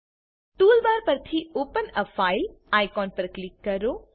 toolbar પરથી open a file icon પર click કરો